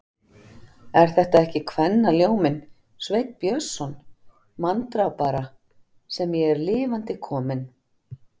Er þetta ekki kvennaljóminn, Sveinn Björnsson, manndrápara, sem ég er lifandi kominn.